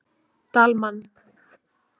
Dalmann